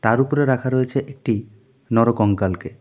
তার উপরে রাখা রয়েছে একটি নর কঙ্কালকে.